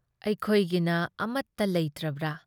ꯑꯩꯈꯣꯏꯒꯤꯅ ꯑꯃꯠꯇ ꯂꯩꯇ꯭ꯔꯕ꯭ꯔꯥ?